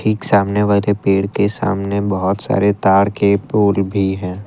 एक सामने वाले पेड़ के सामने बहुत सारे तार के पोल भी हैं।